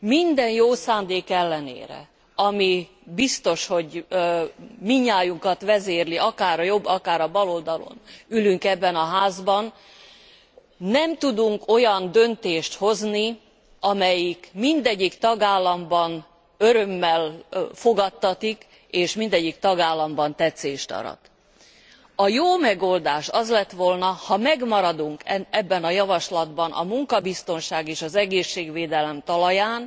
Minden jó szándék ellenére, ami biztos, hogy mindnyájunkat vezérel akár a jobb, akár a baloldalon ülünk ebben a házban, nem tudunk olyan döntést hozni, amelyik mindegyik tagállamban örömmel fogadtatik és mindegyik tagállamban tetszést arat. A jó megoldás az lett volna, ha megmaradunk ebben a javaslatban a munkabiztonság és az egészségvédelem talaján,